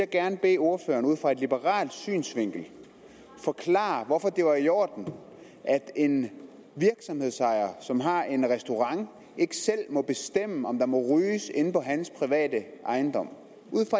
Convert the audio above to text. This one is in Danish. gerne bede ordføreren ud fra en liberal synsvinkel forklare hvorfor det er i orden at en virksomhedsejer som har en restaurant ikke selv må bestemme om der må ryges inde på hans private ejendom